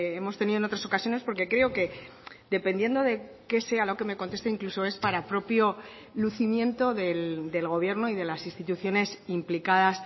hemos tenido en otras ocasiones porque creo que dependiendo de que sea lo que me conteste incluso es para propio lucimiento del gobierno y de las instituciones implicadas